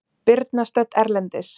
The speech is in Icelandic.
Birna stödd erlendis